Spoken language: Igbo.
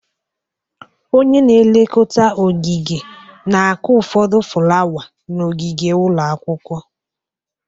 Onye na elekota ogige na-akụ ụfọdụ fulawa n'ogige ụlọ akwụkwọ.